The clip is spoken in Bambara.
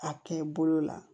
A kɛ bolo la